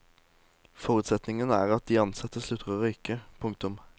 Forutsetningen er at de ansatte slutter å røyke. punktum